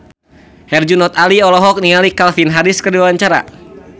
Herjunot Ali olohok ningali Calvin Harris keur diwawancara